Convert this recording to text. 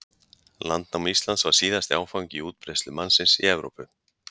Landnám Íslands var síðasti áfangi í útbreiðslu mannsins í Evrópu.